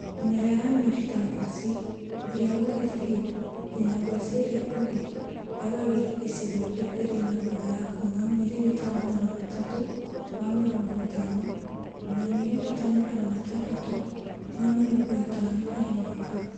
Mĩmera ya mĩri ta ngwacĩ iria nguhĩ biũ nginya gwaci iria nguhĩ yagagĩra icigo iria irĩ na mbura ya kuuma miririta Magana matatũ ma mĩrongo ĩtano nginya miririta magata matandatũ ma mĩrongo ĩtano harĩ mwaka